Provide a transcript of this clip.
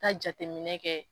Ka jateminɛ kɛ